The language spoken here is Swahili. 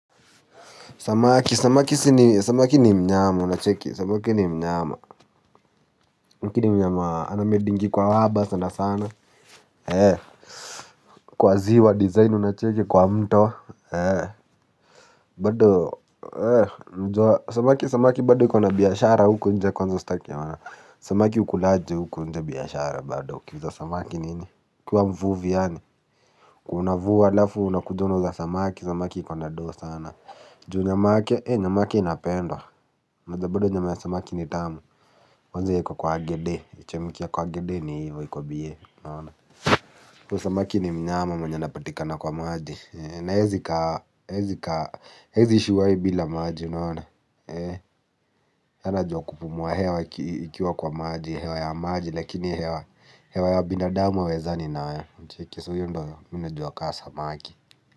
Samaki, samaki ni mnyama unacheki, samaki ni mnyama lakini mnyama anamedingi kwa waba sana sana. Kwa ziwa, design unacheki kwa mto. Bado, samaki bado kuna biashara huku nje kwanza staki wana. Samaki ukulaji huku nje biashara bado ukiuza samaki nini. Kwa mvuvi yani unavua alafu unakuja unauza samaki, samaki iko na doo sana. Juu nyama yake, nyama yake inapendwa unajua bado nyama ya samaki ni tamu, wanze ya kwa kwa agede, ichemkie ya kwa agede ni hivo ya kwa bie. Kwa samaki ni mnyama mwenye anapatikana kwa maji. Naezikaa shuwahi bila maji, unaona yeye anajua kupumua hewa ikiwa kwa maji, hewa ya maji, lakini hewa hewa ya binadamu hawezani nayo hewa cheki so huyo ndo mi najua kaa samaki.